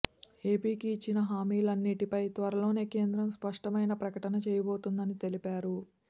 ఏపీకి ఇచ్చిన హామీలన్నింటిపై త్వరలోనే కేంద్రం స్పష్టమైన ప్రకటన చేయబోతుందని తెలిపారు